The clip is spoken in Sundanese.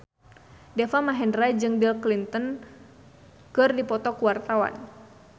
Deva Mahendra jeung Bill Clinton keur dipoto ku wartawan